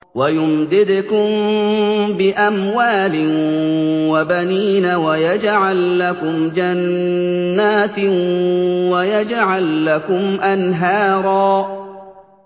وَيُمْدِدْكُم بِأَمْوَالٍ وَبَنِينَ وَيَجْعَل لَّكُمْ جَنَّاتٍ وَيَجْعَل لَّكُمْ أَنْهَارًا